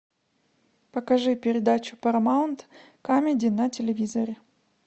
покажи передачу парамаунт камеди на телевизоре